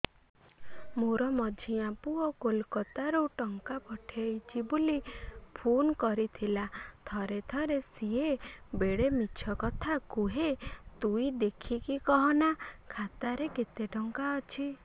ମୋର ମଝିଆ ପୁଅ କୋଲକତା ରୁ ଟଙ୍କା ପଠେଇଚି ବୁଲି ଫୁନ କରିଥିଲା ଥରେ ଥରେ ସିଏ ବେଡେ ମିଛ କଥା କୁହେ ତୁଇ ଦେଖିକି କହନା ଖାତାରେ କେତ ଟଙ୍କା ଅଛି